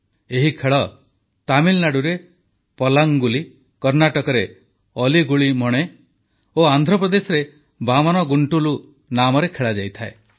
ଏହି ଖେଳ ତାମିଲନାଡୁରେ ପଲ୍ଲାଂଗୁଲି କର୍ଣ୍ଣାଟକରେ ଅଲି ଗୁଲି ମଣେ ଓ ଆନ୍ଧ୍ରପ୍ରଦେଶରେ ବାମନ ଗୁଂଟୁଲୁ ନାମରେ ଖେଳାଯାଏ